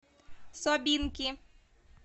собинки